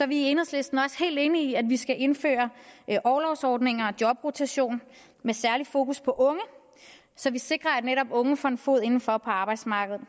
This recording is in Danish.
vi i enhedslisten også helt enige i at vi skal indføre orlovsordninger og jobrotation med særlig fokus på unge så vi sikrer at netop unge får en fod indenfor på arbejdsmarkedet